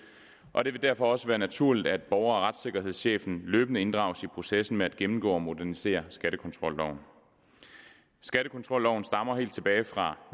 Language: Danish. og det vil derfor også være naturligt at borger og retssikkerhedschefen løbende inddrages i processen med at gennemgå og modernisere skattekontrolloven skattekontrolloven stammer helt tilbage fra